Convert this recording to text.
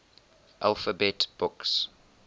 alphabet books